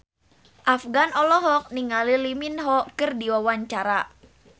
Afgan olohok ningali Lee Min Ho keur diwawancara